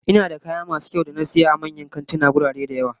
Ina da kayayyaki masu kyau da na saya daga manyan kantuna a wurare da yawa